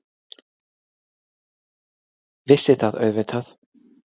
Vissi það auðvitað.